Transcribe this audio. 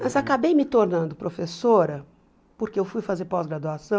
Mas acabei me tornando professora, porque eu fui fazer pós-graduação,